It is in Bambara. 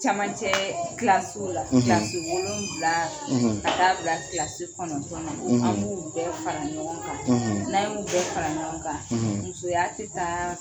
Camancɛ kilasiw la kilasi wolonwula ka t'a bila kilasi kɔnɔnton na an b'u bɛ fara ɲɔgɔn kan n' yu n'an y'u bɛ fara ɲɔgɔn kan musoya tɛ taa